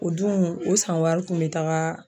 O dun o san wari kun be taga